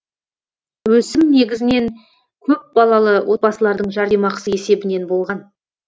өсім негізінен көпбалалы отбасылардың жәрдемақысы есебінен болған